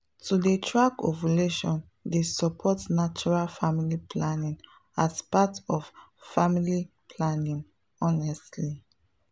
to dey track ovulation dey support natural family planning as part of family planning honestly.